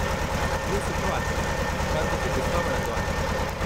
इहो सुठो आहे, पर मूंखे बिस्वा वणंदो आहे।